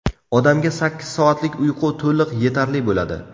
Odamga sakkiz soatlik uyqu to‘liq yetarli bo‘ladi.